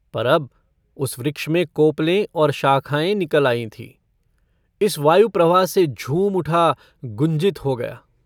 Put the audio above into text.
पर अब उस वृक्ष में कोपलें और शाखाएँ निकल आई थीं। इस वायुप्रवाह से झूम उठा, गुंजित हो गया।